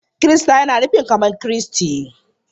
Kirista yana nufin kamar Kristi.